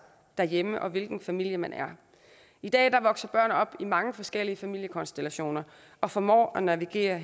derhjemme og hvilken familie man er i dag vokser børn op i mange forskellige familiekonstellationer og formår at navigere